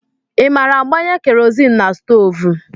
I maara agbanye Kerọzin na stoovú?